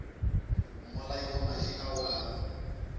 mmolai wa madi ao a